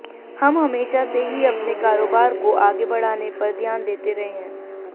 हम हमेशा से ही अपने कारोबार को आगे बढ़ाने पर ध्यान देते रहे हैं